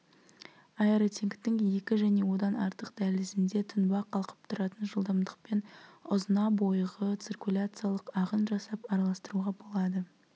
аэротенктің екі және одан артық дәлізінде тұнба қалқып тұратын жылдамдықпен ұзына бойғы циркуляциялық ағын жасап араластыруға болады